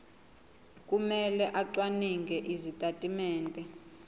kumele acwaninge izitatimende